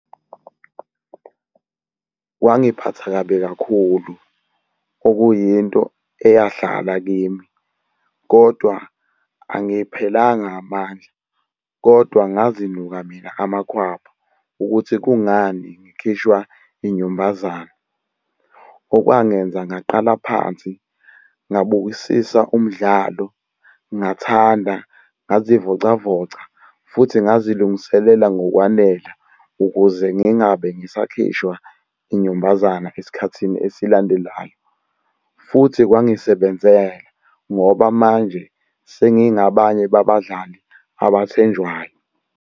Kwangiphatha kabi kakhulu, okuyinto eyahlala kimi. Kodwa angiphelanga amandla, kodwa ngazinuka mina amakhwapha ukuthi kungani ngikhishwa inyumbazane. Okwangenza ngaqala phansi ngabukisisa umdlalo, ngathanda, ngazivocavoca futhi ngazilungiselela ngokwanele ukuze ngingabe ngisakhishwa inyumbazana esikhathini esilandelayo. Futhi kwangisebenzela ngoba manje sengingabanye babadlali abathenjwayo.